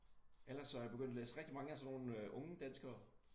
Eller så jeg begyndt at læse rigtig mange af sådan nogle øh unge danskere